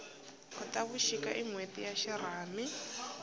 khotavuxika i nhweti ya xirhami